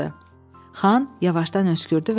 Xan yavaşdan öskürdü